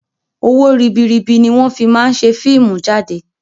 Owó ribiribi ni wọn fii máa ń ṣe fíìmù jáde